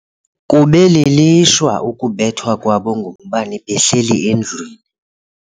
Kube lilishwa ukubethwa kwabo ngumbane behleli endlwini.